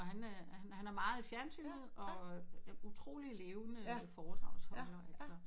Og han øh han er øh han er meget i fjernsynet og øh utrolig levende foredragsholder altså